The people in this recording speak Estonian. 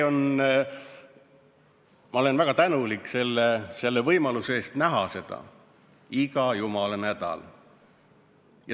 Ma olen väga tänulik selle võimaluse eest näha seda iga jumala nädal.